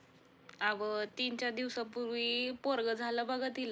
अवं तीन चार दिवसापूर्वी पोरगं झाल बघा तिला